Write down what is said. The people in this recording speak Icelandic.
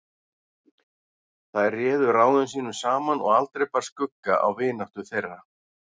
Þær réðu ráðum sínum saman og aldrei bar skugga á vináttu þeirra.